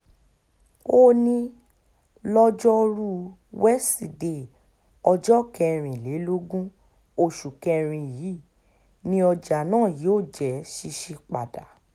ó ní lojoruu wesidee ọjọ́ kẹrìnlélógún oṣù kẹrin yìí ni ọjà náà yóò jẹ́ ṣíṣí padà